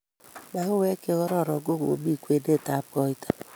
Mauek chegororon kogomi kwenetab koito